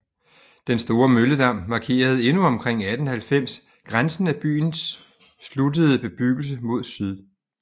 Den store Mølledam markerede endnu omkring 1890 grænsen af byens sluttede bebyggelse mod syd